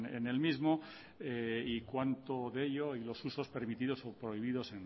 en el mismo y cuanto de ello y los usos permitidos o prohibidos